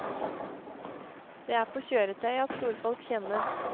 Det er på kjøretøyet at storfolk kjennes.